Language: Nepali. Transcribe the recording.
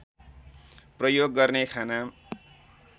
प्रयोग गर्ने खाना